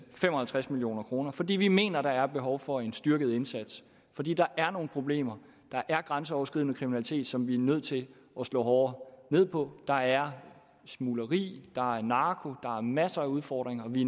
fem og halvtreds million kroner fordi vi mener at der er behov for en styrket indsats fordi der er nogle problemer der er grænseoverskridende kriminalitet som vi er nødt til at slå hårdere ned på der er smugleri der er narko der er masser af udfordringer vi